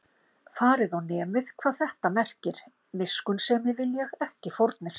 Farið og nemið, hvað þetta merkir: Miskunnsemi vil ég, ekki fórnir